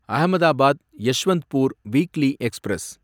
Ahmedabad Yesvantpur weekly express